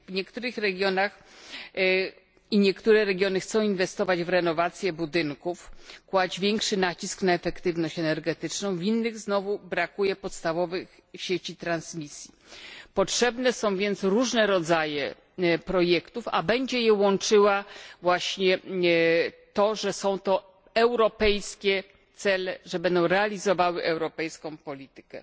Niektóre regiony chcą inwestować w renowację budynków, kłaść większy nacisk na efektywność energetyczną, w innych znowu brakuje podstawowych sieci przesyłowych Potrzebne są więc różne rodzaje projektów, a będzie je łączyło właśnie to, że są to europejskie cele, że będą realizowały europejską politykę.